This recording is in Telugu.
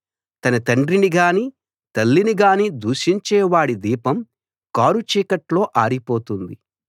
తన తండ్రిని గానీ తల్లిని గానీ దూషించేవాడి దీపం కారుచీకట్లో ఆరిపోతుంది